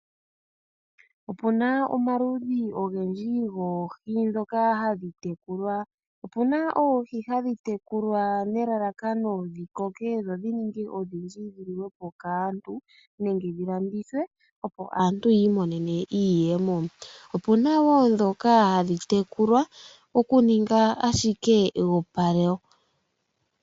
Opuna omaludhi ogendji goohi ndhoka hadhi tekulwa . Opuna oohi hadhi tekulwa nelalakano dhi koke dho dhininge odhindji dhi liwepo kaantu nenge dhi landithwe opo aantu yi imonene iiyemo . Opuna woo ndhoka hadhi tekulwa okuninga ashike eyopalo.